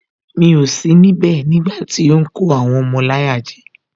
Mi ò sí níbẹ̀ nígbàtí ó ń kó àwọn ọmọ láyà jẹ